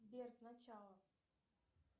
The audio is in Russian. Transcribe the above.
сбер сначала